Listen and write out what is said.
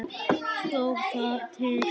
Stóð það til?